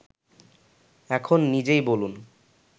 এখন নিজেই বলুন